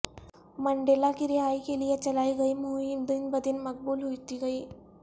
Mandela کی رہائی کے لیے چلائی گئی مہم دن بدن مقبول ہوتی گئی